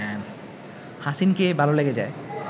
হাসিনকে ভালো লেগে যায়